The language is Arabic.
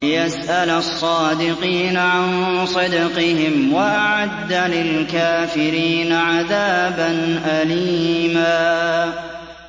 لِّيَسْأَلَ الصَّادِقِينَ عَن صِدْقِهِمْ ۚ وَأَعَدَّ لِلْكَافِرِينَ عَذَابًا أَلِيمًا